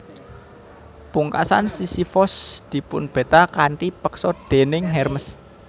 Pungkasan Sisifos dipunbeta kanthi peksa déning Hermes